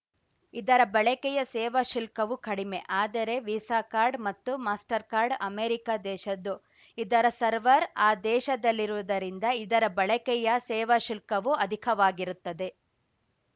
ಇದರ ಬಳಕೆಯ ಸೇವಾ ಶುಲ್ಕವು ಕಡಿಮೆ ಆದರೆ ವಿಸಾಕಾರ್ಡ್‌ ಮತ್ತು ಮಾಸ್ಟರ್‌ಕಾರ್ಡ್‌ ಅಮೇರಿಕಾ ದೇಶದ್ದು ಇದರ ಸರ್ವರ್‌ ಆ ದೇಶದಲ್ಲಿರುವುದರಿಂದ ಇದರ ಬಳಕೆಯ ಸೇವಾ ಶುಲ್ಕವು ಅಧಿಕವಾಗಿರುತ್ತದೆ